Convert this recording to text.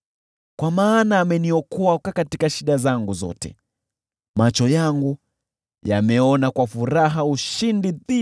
Kwa maana ameniokoa katika shida zangu zote, na macho yangu yamewatazama adui zangu kwa ushindi.